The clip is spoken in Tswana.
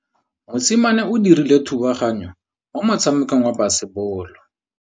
Mosimane o dirile thubaganyô mo motshamekong wa basebôlô.